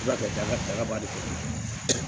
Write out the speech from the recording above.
Ala ka daga dagaba de k'i ye